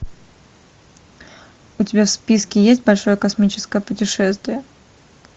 у тебя в списке есть большое космическое путешествие